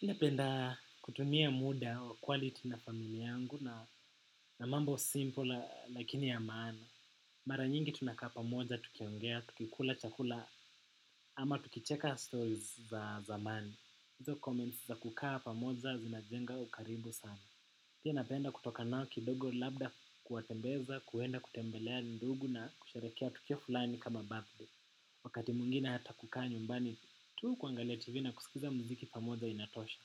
Inapenda kutumia muda wa quality na familia yangu na mambo simple lakini ya maana. Mara nyingi tunakaa pamoja, tukiongea, tukikula chakula ama tukicheka stories za zamani. Izo comments za kukaa pamoja zinajenga ukaribu sana. Pi napenda kutoka nao kidogo labda kuwatembeza, kuenda kutembelea ndugu na kusherekea tukio fulani kama birthday. Wakati mwingine hata kukaa nyumbani, tuu kuangalia tivi na kusikiza muziki pamoja inatosha.